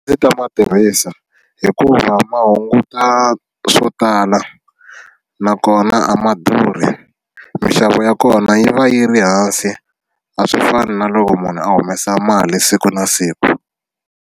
Ndzi ta ma tirhisa hikuva ma hunguta swo tala nakona a ma durhi minxavo ya kona yi va yi ri hansi a swi fani na loko munhu a humesa mali siku na siku.